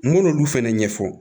N k'olu fɛnɛ ɲɛfɔ